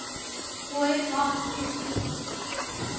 boy advance sp